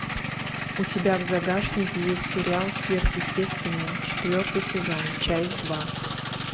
у тебя в загашнике есть сериал сверхъестественное четвертый сезон часть два